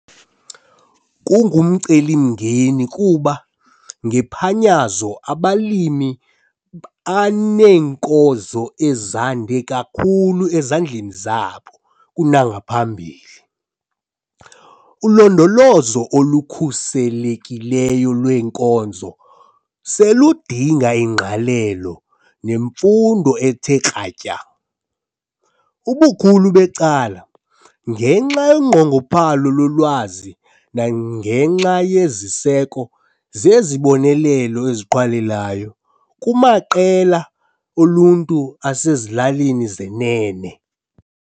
Kungumcelimngeni kuba ngephanyazo abalimi baneenkozo ezande kakhulu ezandleni zabo kunangaphambili. Ulondolozo olukhuselekileyo lweenkozo seludinga ingqalelo nemfundo ethe kratya, ubukhulu becala ngenxa yonqongophalo lolwazi nangenxa yeziseko zezibonelelo eziqhwalelayo kumaqela oluntu asezilalini zenene.